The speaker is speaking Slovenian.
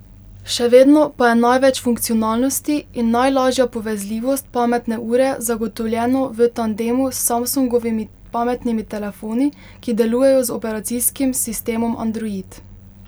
Še vedno pa je največ funkcionalnosti in najlažja povezljivost pametne ure zagotovljeno v tandemu s Samsungovimi pametnimi telefoni, ki delujejo z operacijskim sistemom Android.